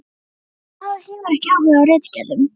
Hún hefur ekki áhuga á ritgerðum.